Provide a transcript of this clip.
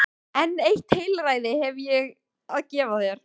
En eitt heilræði hef ég að gefa þér.